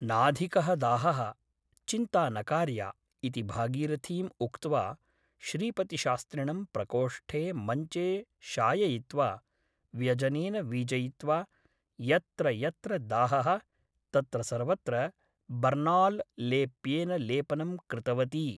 नाधिकः दाहः । चिन्ता न कार्या ' इति भागीरथीम् उक्त्वा श्रीपतिशास्त्रिणं प्रकोष्ठे मंचे शाययित्वा व्यजनेन वीजयित्वा यत्र यत्र दाहः तत्र सर्वत्र ' बर्नाल् लेप्येन लेपनं कृतवती ।